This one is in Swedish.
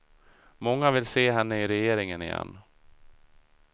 Många vill se henne i regeringen igen.